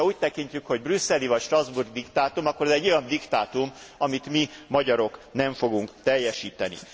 Ez, hogyha úgy tekintjük, hogy brüsszeli vagy strasbourgi diktátum, akkor ez egy olyan diktátum, amit mi, magyarok nem fogunk teljesíteni.